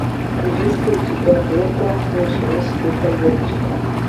есть ли у тебя лента ничего себе поездочка